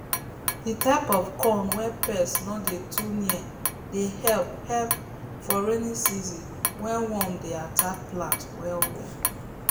the type of corn wey pest no dey too near dey help help for rainy season wey worm dey attack plants well well